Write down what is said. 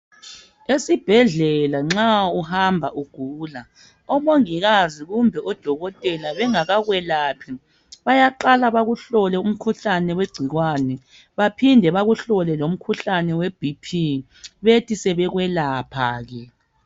Esibhedlela nxa uhamba ugula omongikazi kumbe odokotela bayaqala bakuhlole umkhuhlane wegcikwane bephinde bakuhlole umkhuhlane weBp bethi sebekwelapha ke.